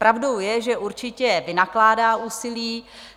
Pravdou je, že určitě vynakládá úsilí.